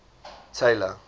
tailor